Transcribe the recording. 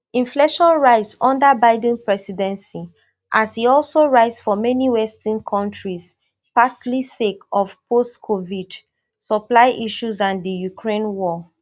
inflation rise under biden presidency as e also rise for many western kontris partly sake of postcovid supply issues and di ukraine war